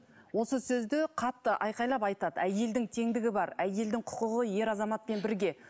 осы сөзді қатты айқайлап айтады әйелдің теңдігі бар әйелдің құқығы ер азаматпен бірге